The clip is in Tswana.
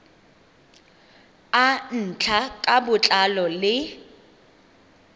a ntlha ka botlalo le